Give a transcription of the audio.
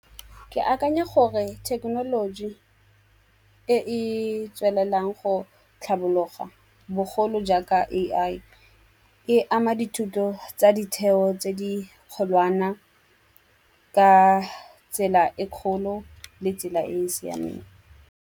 Ke akanya gore thekenoloji e e tswelelang go tlhabologa bogolo jaaka A_I e ama dithuto tsa ditheo tse di kgolwana ka tsela e kgolo le tsela e e siameng.